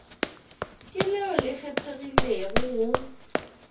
ke leo le kgethegilego go